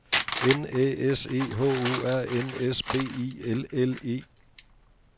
N Æ S E H O R N S B I L L E